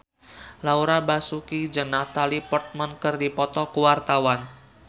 Laura Basuki jeung Natalie Portman keur dipoto ku wartawan